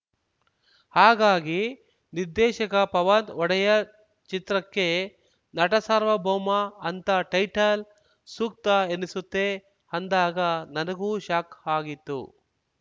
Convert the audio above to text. ಹಾಗಾಗಿ ನಿರ್ದೇಶಕ ಪವನ್‌ ಒಡೆಯರ್‌ ಚಿತ್ರಕ್ಕೆ ನಟಸಾರ್ವಭೌಮಅಂತ ಟೈಟಲ್‌ ಸೂಕ್ತ ಎನಿಸುತ್ತೆ ಅಂದಾಗ ನನಗೂ ಶಾಕ್‌ ಆಗಿತ್ತು